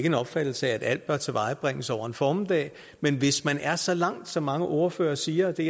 en opfattelse af at alt bør tilvejebringes over en formiddag men hvis man er så langt som mange ordførere siger og det